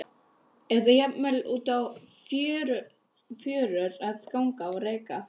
eða jafnvel út á fjörur að ganga á reka.